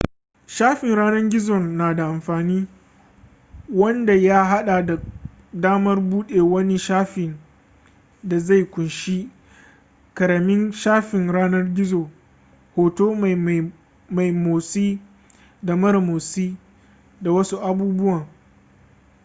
shafin yanar gizon na da amfani wanda ya hada da damar bude wani shafin da zai kunshi karamin shafin yanar gizo hoto mai motsi da mara motsi da wasu abubuwan